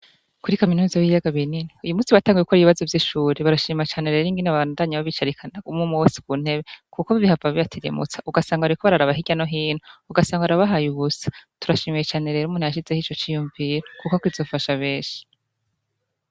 Kuri kaminuza y'ibiyaga binini, uyu munsi batanguye gukora ibibazo, Barashima cane rero ingene babandanya babicarikana umwe mwe wese ku ntebe. Kuko bihava bibatirimutsa ugasanga bariko bararaba hirya no hino. Ugasanga barabaye ubusa, Turashimiye cane rero umuntu yashizeho ico ciyumviro kuko kizofasha benshi.